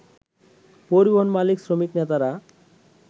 পরিবহন মালিক-শ্রমিক নেতারা